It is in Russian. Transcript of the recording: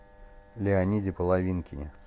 леониде половинкине